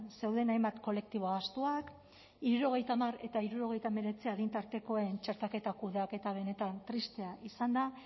zeuden hainbat kolektibo ahaztuak hirurogeita hamar eta hirurogeita hemeretzi adin tartekoen txertaketa kudeaketa benetan tristea izan da